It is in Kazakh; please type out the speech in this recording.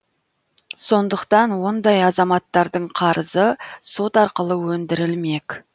сондықтан ондай азаматтардың қарызы сот арқылы өндірілмек